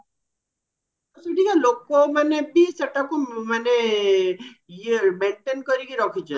ସେଠିକା ଲୋକ ମାନେ ବି ସେଟାକୁ ମାନେ ଇଏ maintain କରିକି ରଖିଛନ୍ତି